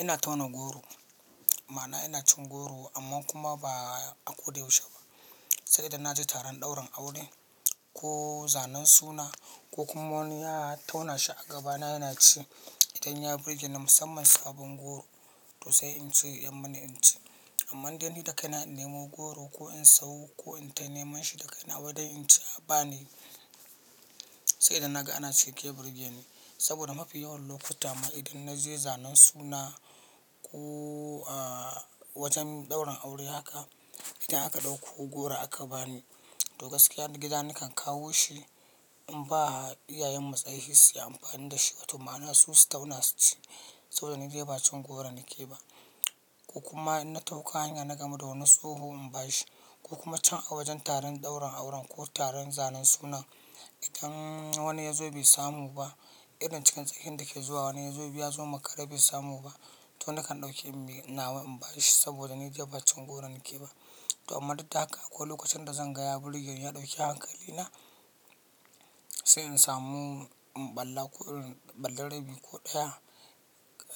Ina tauna goro, ma'ana ina cin goro amma kuma ba a ƙoda yaushe ba. Sai idan na je taron ɗaurin aure ko zanen suna ko kuma wani ya tauna shi a gabana yana ci, idan ya burge ni musamman sabon goro to sai in ce ya tsammin in ci. Amma dai ni da kai na innemo goro ko in samu ko in ta neman shi da kai na waidon in ce a ba ni, sai idan naga ana ci yake burge ni. Saboda mafi yawan lokuta ma idan na je zanen suna ko wajen ɗaurin aure haka, idan aka ɗauko goro aka ba ni to gaskiya ni gida nakan kawo shi in ba iyayenmu kaitsaye su yi amfani da shi. To ma'ana su su tauna su ci saboda ni dai ba cin goro nake ba. Ko kuma in na ɗauko hanya na gamu da wani tsoho in ba shi ko kuma can a wajen taron ɗaurin auren ko taron zanen suna, idan wani ya zo bai samu ba, irin cikin tsakin dake zuwa wani ya zo baisamu amakare ya zo makare bai samu ba to nakan ɗauke nawa na in ba shi saboda ni dai ba cin goro nake ba. To amma duk da haka ko lokacin da zan gaya burge ni ya ɗauke hankali na sai in samu balla ko irin balla rabi ko ɗaya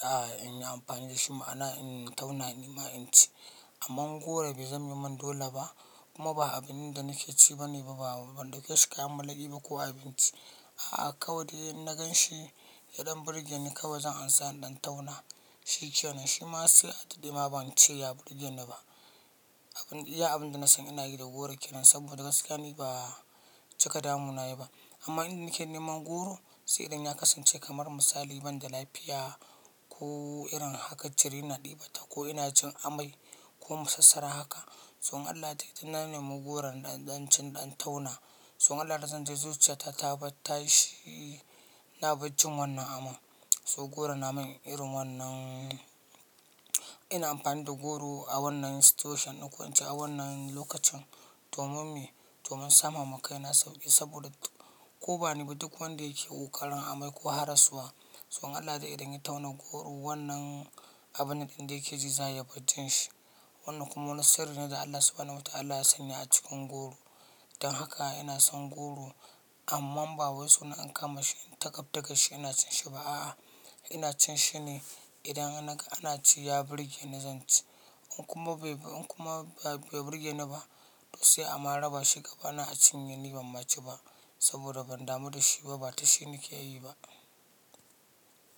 a in yi amfani da shi ma'ana in tauna nima in ci. Amma goro bai zame min dole ba kuma ba abin da nake ci bane ba a ban dauke shi kayan malaƙi ba ko abinci. A'a kawai dai inna gan shi yadan burge ni kawai zan ansa in ɗan tauna shi ke nan shi ma sai a daɗe ma ban ce ya burge ni ba. Abin iya abin da na san ina yi da goro ke nan saboda gaskiya ni ba cika damuna yake ba. Amma inda nake neman goro sai idan ya kasance kamar misali banda lafiya ko irin haka jiri na ɗibata ko ina jin amai ko masasara haka. To idan na nemi goron, zan ɗan ci in tauna. So in Allah ya yarda zan ji zuciya ta tabar tashi na baccin wannan ama. To goro na min irin wannan, ina amfani da goro a wannan situation ɗin ko ince a wannan lokacin domin me? Domin sama ma kaina sauƙi saboda ko ba ni ba duk wanda yake ƙoƙarin amai ko haraswa. In Allah ya yarda idan ya tauna goro wannan abun nan ɗin da yake ji za ya bar jin shi. Wannan kuma wani sirri ne da Allah subahanahu wa ta'ala ya sanya a cikin goro. Don haka ina son goro amma ba wai na kama shi in ta kaftar shi ina cin shi ba a'a. Ina cin shi ne idan naga ana ci ya burge ni zan ci. In kuma bai in kuma bai burge ni ba to sai a ma raba shi gabana a cinye ni ban ma ci ba saboda ban damu da shi ba, ba ta shi nake yi ba.